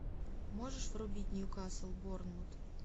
можешь врубить ньюкасл борнмут